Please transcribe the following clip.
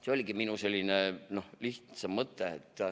See oligi minu lihtne mõtte.